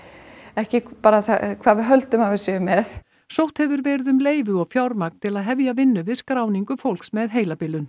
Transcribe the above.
ekki bara hvað við höldum að við séum með sótt hefur verið um leyfi og fjármagn til að hefja vinnu við skráningu fólks með heilabilun